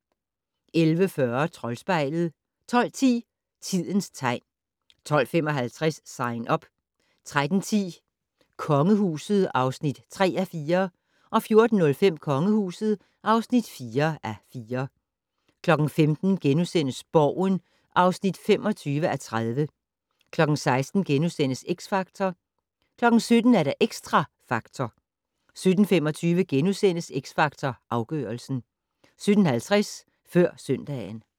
11:40: Troldspejlet 12:10: Tidens tegn 12:55: Sign Up 13:10: Kongehuset (3:4) 14:05: Kongehuset (4:4) 15:00: Borgen (25:30)* 16:00: X Factor * 17:00: Xtra Factor 17:25: X Factor Afgørelsen * 17:50: Før søndagen